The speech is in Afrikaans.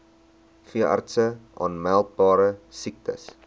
veeartse aanmeldbare siektes